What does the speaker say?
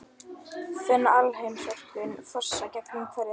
Finn alheimsorkuna fossa gegnum hverja taug.